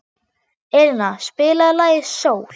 Elina, spilaðu lagið „Sól“.